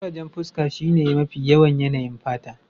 Kurajen fuska shine mafi yawan yanayin fata